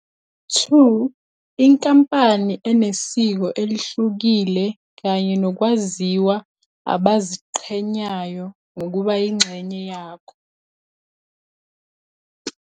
2. Inkampani enesiko elihlukile kanye nokwaziwa abaziqhenyayo ngokuba yingxenye yakho.